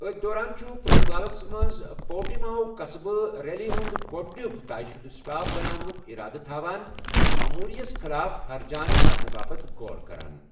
أتھۍ دوران چھُ پرتگالَس منٛز پورٹیماوُک قصبہٕ، ریلی ہُنٛد گۄڈٕنیُک طے شُدٕ سٹاپ بناونُک ارادٕ تھاوان، چھُ اموری یَس خلاف ہرجانہٕ برنہٕ باپتھ غور کران۔